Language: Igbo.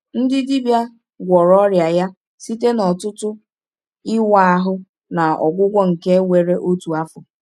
Ndị dibịa gwọrọ ọrịa ya site n’ọtụtụ ịwa ahụ na ọgwụgwọ nke were otu afọ.